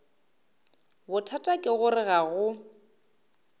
bothata ke gore ga go